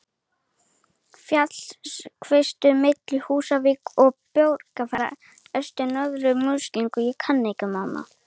Fjallið Hvítserkur milli Húsavíkur og Borgarfjarðar eystri í Norður-Múlasýslu.